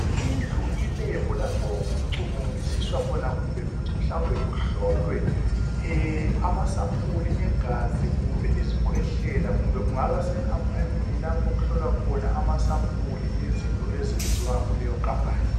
Indlu ilab lapho okucubungulisiswa khona kumbe futhi mhlawumbe kuhlolwe amasampuli egazi kumbe izikhwehlela kumbe kungabasekhampanini lapho okuhlolwa khona izinto ezenziwa kuyoneyo khampani